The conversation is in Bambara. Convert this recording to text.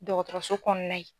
Dɔgɔtɔrɔso kɔnɔna ye.